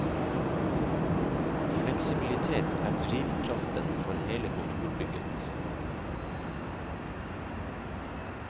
Fleksibilitet er drivkraften for hele kontorbygget.